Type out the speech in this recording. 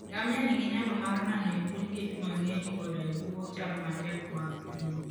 Ngamia nigi nyalo mar nano e bwo liet mang'eny koda e bwo chal matek mag thim.